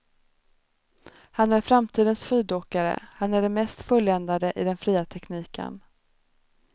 Han är framtidens skidåkare, han är den mest fulländade i den fria tekniken.